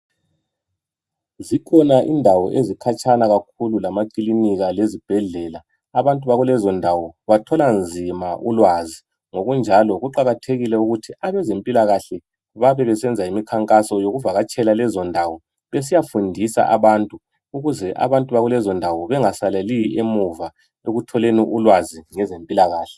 Zikhona indawo ezikhatshana kakhulu lamakilinika lezibhedlela abantu bakulezondawo bathola nzima ulwazi ngokunjalo kuqakathekile ukuthi abezempilakahle babebesenza imikhankaso yokuvakatshela lezo ndawo besiyafundisa abantu ukuze bakulezondawo bengasaleli emuva okutholeni ukwazi ngezempilakahle.